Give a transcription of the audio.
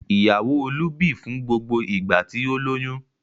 Ìyàwó Olú bì fún gbogbo ìgbà tí ó lóyún.